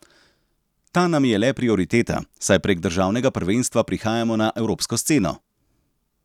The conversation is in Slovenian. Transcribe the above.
Ta nam je le prioriteta, saj prek državnega prvenstva prihajamo na evropsko sceno.